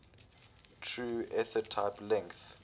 true ethertype length